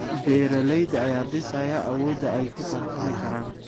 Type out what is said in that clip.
Beeralayda ayaa dhisaya awoodda ay ku tartami karaan.